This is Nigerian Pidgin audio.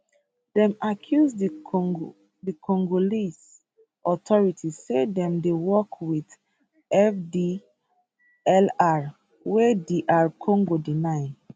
dem accuse di congolese authorities say dem dey work wit fdlr wey dr congo deny